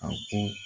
A ko